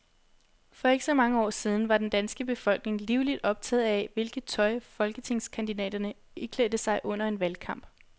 For ikke så mange år siden var den danske befolkning livligt optaget af, hvilket tøj folketingskandidaterne iklædte sig under en valgkamp.